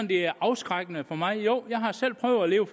det er afskrækkende for mig jeg har selv prøvet at leve